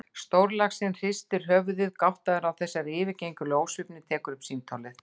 Stórlaxinn hristir höfuðið, gáttaður á þessari yfirgengilegu ósvífni, tekur upp símtólið.